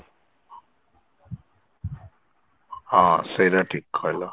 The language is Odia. ହଁ ସେଇଟା ଠିକ କହିଲ